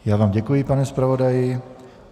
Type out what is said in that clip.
Já vám děkuji, pane zpravodaji.